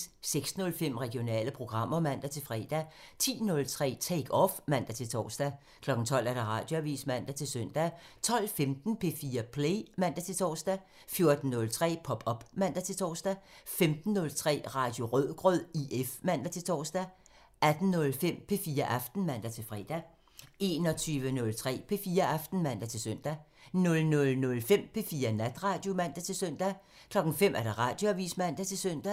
06:05: Regionale programmer (man-fre) 10:03: Take Off (man-tor) 12:00: Radioavisen (man-søn) 12:15: P4 Play (man-tor) 14:03: Pop op (man-tor) 15:03: Radio Rødgrød IF (man-tor) 18:05: P4 Aften (man-fre) 21:03: P4 Aften (man-søn) 00:05: P4 Natradio (man-søn) 05:00: Radioavisen (man-søn)